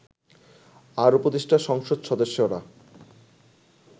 আর উপদেষ্টা সংসদ সদস্যরা